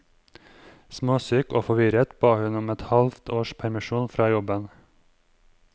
Småsyk og forvirret ba hun om et halvt års permisjon fra jobben.